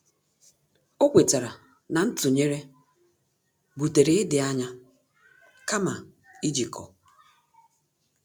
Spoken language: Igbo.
Ọ́ kwétárà na ntụnyere butere ịdị ányá kàma íjíkọ́.